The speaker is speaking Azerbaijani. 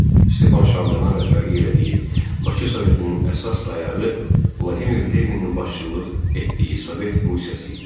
Stepan Şaumyanın rəhbərliyi elədiyi Bakı Sovetinin əsas dayağı Vladimir Leninin başçılıq etdiyi Sovet Rusiyası idi.